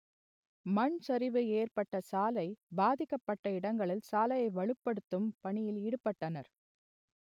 மண் சரிவு ஏற்பட்ட சாலை பாதிக்கப்பட்ட இடங்களில் சாலையை வலுப்படுத்தும் பணியில் ஈடுபட்டனர்